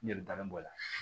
Ne bɛ daga bɔ a la